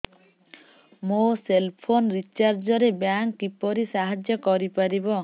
ମୋ cell phone recharge ରେ bank କିପରି ସାହାଯ୍ୟ କରିପାରିବ